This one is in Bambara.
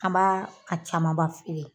An b'a a camanba feere